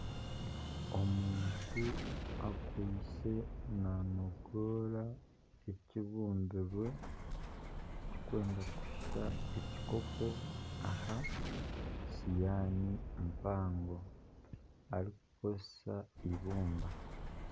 Omuntu akwitse nanogoora ekibumbirwe ekirikwenda kushusha ekikopo aha siwaani mpango arikukoresa eibumba